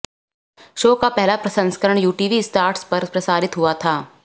show का पहला संस्करण यूटीवी स्टार्स पर प्रसारित हुआ था